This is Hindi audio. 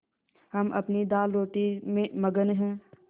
हम अपनी दालरोटी में मगन हैं